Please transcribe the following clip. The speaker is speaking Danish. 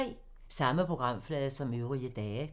Samme programflade som øvrige dage